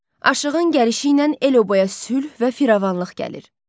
Aşığın gəlişi ilə el-oba sülh və firavanlıq gəlir.